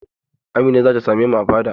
Amina za ta same mu a fada.